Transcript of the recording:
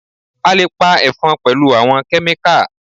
A lè pa Ẹ̀fọn pẹ̀lú àwọn Kẹ́míkà